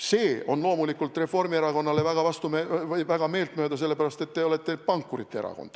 See on loomulikult Reformierakonnale väga meelt mööda, sest te olete pankurite erakond.